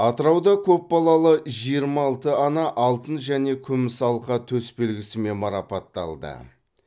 атырауда көп балалы жиырма алты ана алтын және күміс алқа төсбелгісімен марапатталды